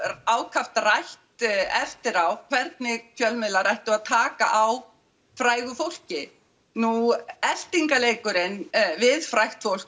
ákaft rætt eftir á hvernig fjölmiðlar ættu að taka á frægu fólki nú eltingarleikurinn við frægt fólk